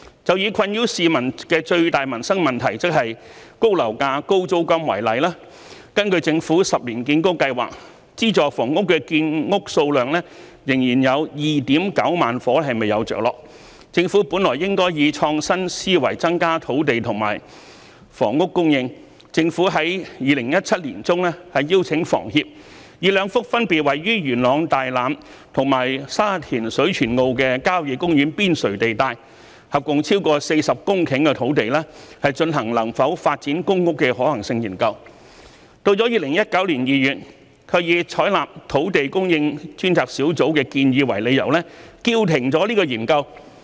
就以困擾市民的最大民生問題，即高樓價、高租金為例，根據政府10年建屋計劃，資助房屋的建屋數量仍有 29,000 伙未有着落，政府本來應該以創新思維增加土地和房屋供應；政府在2017年年中邀請香港房屋協會，以兩幅分別位於元朗大欖及沙田水泉澳的郊野公園邊陲地帶，合共超過40公頃土地，進行能否發展公屋的可行性研究，但到了2019年2月，卻以採納土地供應專責小組的建議為理由，叫停研究。